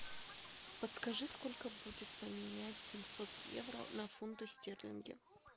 подскажи сколько будет поменять семьсот евро на фунты стерлинги